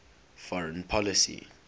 foreign policy